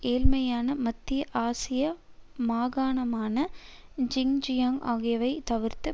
ஏழைமையான மத்திய ஆசிய மாகாணமான ஜின்ஜியாங் ஆகியவை தவிர்த்து